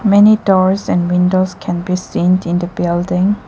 Many doors and windows can be seen in the building.